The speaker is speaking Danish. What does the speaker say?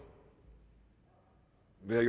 vil